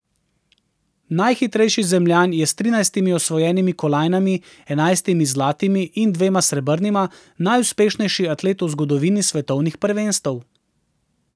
Najhitrejši Zemljan je s trinajstimi osvojenimi kolajnami, enajstimi zlatimi in dvema srebrnima, najuspešnejši atlet v zgodovini svetovnih prvenstev.